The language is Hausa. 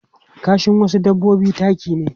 Kashin wasu dabbobi taki ne.